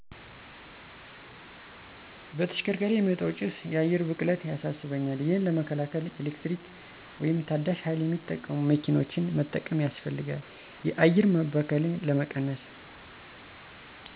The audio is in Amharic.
በተሽከርካሪ የሚወጣው ጭሰ የአየር ብክለት ያሳሰበኛል። ይሄን ለመከላከል የኤሌክትሪክ ወይም ታዳሸ ሀይል የሚጠቀሙ መኪኖችን መጠቀም ያሰፈልጋል የአየር መበከልን ለመቀነሰ።